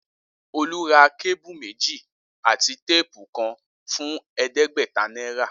Olú ra kébù méjì àti téèpù kan fún è̩é̩dé̩gbè̩ta náírà